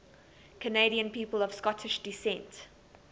canadian people of scottish descent